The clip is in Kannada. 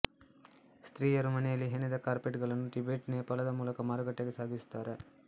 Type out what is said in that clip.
ಸ್ತ್ರೀಯರು ಮನೆಯಲ್ಲಿ ಹಣೆದ ಕಾರ್ಪೆಟ್ಗಳನ್ನು ಟಿಬೆಟ್ ನೇಪಾಳದ ಮೂಲಕ ಮಾರುಕಟ್ಟೆಗೆ ಸಾಗಿಸುತ್ತಾರೆ